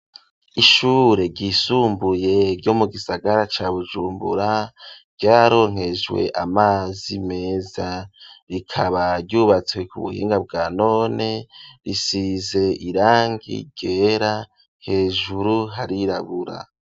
Ishure ryisumbuye ryo mu gisagara ca Bujumbura vyaronkejwe amazi meza rikaba ryubatswe ku buhinga bwa none, risize irangi ryera, hejuru harirabura.